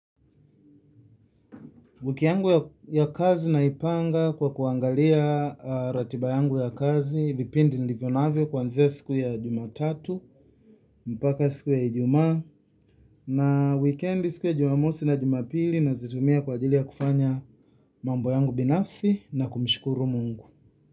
Wiki yangu ya kazi naipanga kwa kuangalia ratiba yangu ya kazi, vipindi nilivyo navyo kuanzia siku ya Jumatatu, mpaka siku ya Ijumaa, na wikendi siku ya Jumamosi na Jumapili nazitumia kwa ajili ya kufanya mambo yangu binafsi na kumshukuru Mungu.